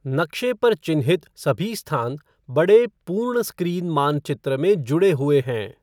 नक्शे पर चिह्नित सभी स्थान बड़े पूर्ण स्क्रीन मानचित्र में जुड़े हुए हैं।